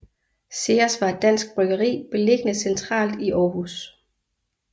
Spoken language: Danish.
Ceres var et dansk bryggeri beliggende centralt i Aarhus